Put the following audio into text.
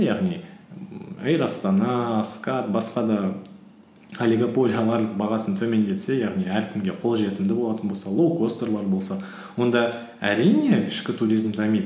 яғни эйр астана скат басқа да олигополиялар бағасын төмендетсе яғни әркімге қолжетімді болатын болса лоукостерлер болса онда әрине ішкі туризм дамиды